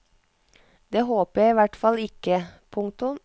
Det håper jeg i hvert fall ikke. punktum